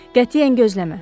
Qətiyyən gözləmə.